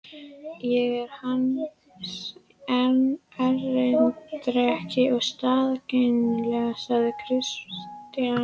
Ég er hans erindreki og staðgengill, sagði Christian.